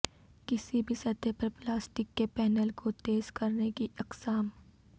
کسی بھی سطح پر پلاسٹک کے پینل کو تیز کرنے کی اقسام